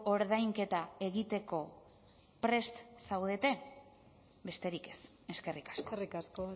ordainketa egiteko prest zaudete besterik ez eskerrik asko eskerrik asko